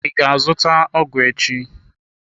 I ga azụta ọgụ echi?